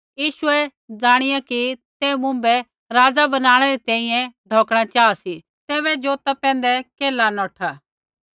यीशुऐ ज़ाणिया कि ते मुँभै राज़ा बनाणै री तैंईंयैं ढौकणा चाहा सी तैबै जौता पैंधै केल्हा नौठा